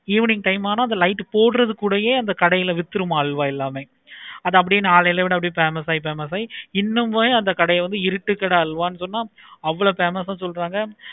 evening time ஆனா சோலா குல்லையே அந்த கடைல வித்துருமா? அல்வா எல்லாமே அது அப்படியே நாளடைவில் famous ஆகி இன்னோனு கூட அந்த கடைய இருட்டு கடை அல்வா அவ்வளோ famous ஆஹ் சொல்றாங்க.